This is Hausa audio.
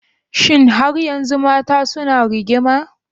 Shin har yanzu Mata suna rigima?